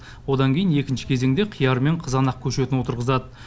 одан кейін екінші кезеңде қияр мен қызанақ көшетін отырғызады